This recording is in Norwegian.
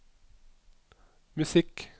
musikk